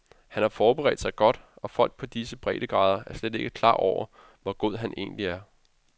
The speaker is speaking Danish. Han har forbedret sig godt, og folk på disse bredegrader er slet ikke klar over, hvor god han egentlig er.